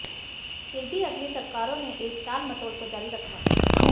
फिर भी अगली सरकारों ने इस टालमटोल को जारी रखा